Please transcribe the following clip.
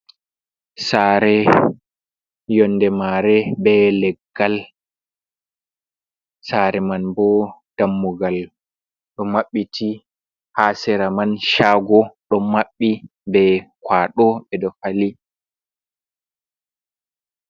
Saare, yonde maare be leggal. Saare man bo, dammugal ɗo maɓɓiti, haa sera man shaago ɗon maɓɓi be kwaaɗo, ɓe ɗo fali.